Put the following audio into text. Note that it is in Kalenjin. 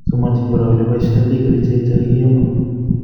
Somanchin kora ele boisyoitoi kerichek chekakiyomo